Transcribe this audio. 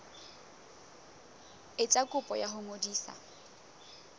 etsa kopo ya ho ngodisa